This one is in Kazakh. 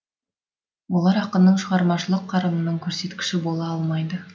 олар ақынның шығармашылық қарымының көрсеткіші бола алмайды